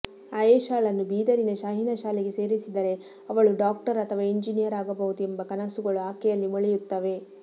ಆಯೇಶಾಳನ್ನೂ ಬೀದರಿನ ಶಾಹೀನ್ ಶಾಲೆಗೆ ಸೇರಿಸಿದರೆ ಅವಳೂ ಡಾಕ್ಟರ್ ಅಥವಾ ಎಂಜಿನೀಯರ್ ಆಗಬಹುದು ಎಂಬ ಕನಸುಗಳು ಆಕೆಯಲ್ಲಿ ಮೊಳೆಯುತ್ತವೆ